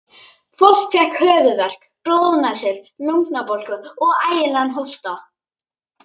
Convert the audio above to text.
Fólk fékk höfuðverk, blóðnasir, lungnabólgu og ægilegan hósta.